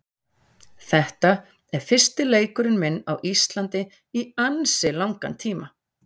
Þetta er fyrsti leikurinn minn á Íslandi í ansi langan tíma.